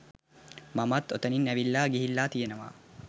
මමත් ඔතනින් ඇවිල්ලා ගිහිල්ල තියෙනවා